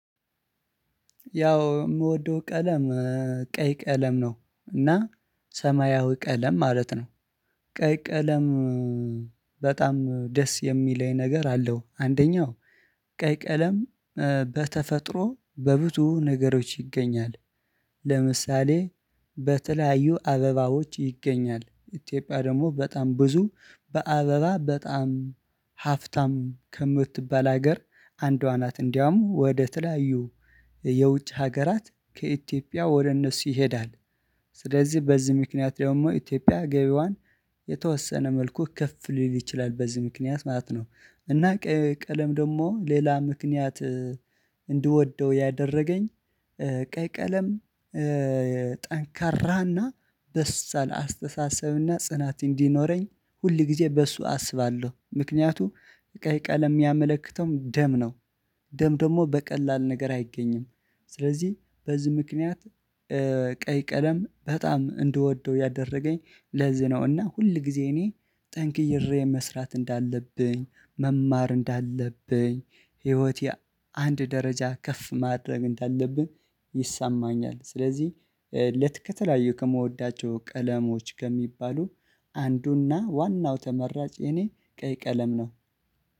ያው የምወደው ቀለም ቀይ ቀለም ነው እና ሰማያዊ ቀለም ማለት ነው። ቀይ ቀለም በጣም ደስ የሚለኝ ነገር አለው አንደኛው ቀይ ቀለም በተፈጥሮ በብዙ ነገሮች ይገኛል። ለምሳሌ በተለያዩ አበባዎች ይገኛል ኢትዮጵያ ደግሞ በጣም ብዙ በአበባ በጣም ሀፍታም ከምትባል ሀገር አንዷ ናት እንዲያውም ወደ ተለያዩ የውጭ ሀገራት ከኢትዮጵያ ወደ እነሱ ይሄዳል። ስለዚህ በዚህ ምክንያት ደግሞ ኢትዮጵያ ገቢዋን የተወሰነ መልኩ ከፍ ሊል ይችላል በዚህ ምክንያት ማለት ነው። እና ቀለም ደግሞ ሌላ ምክንያት እንድወደው ያደረገኝ ቀይ ቀለም። ጠንካራና በሳል አስተሳሰብና ጽናት እንዲኖረኝ ሁል ጊዜ በሱ አስባለሁ ምክንያቱም ቀይ ቀለም የሚያመለክተውም ደም ነው ደም ደግሞ በቀላል ነገር አይገኝም ስለዚህ በዚህ ምክንያት ቀይ ቀለም በጣም እንደወደው ያደረገኝ ለዚህ ነው። እና ሁል ጊዜ እኔ ጠንክሬ መስራት እንዳለብኝ መማር እንዳለብኝ ህይወቴ አንድ ደረጃ ከፍ ማድረግ እንዳለብኝ ይሳማኛል። ስለዚህ ሁለት ከተለያዩ ከምወዳቸው ቀለሞች ከሚባሉ አንዱና ዋናው ተመራጭ የኔ ቀይ ቀለም ነው።